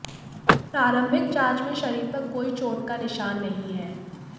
प्रारंभीक जांच में शरीर पर कोई चोट का निशान नहीं है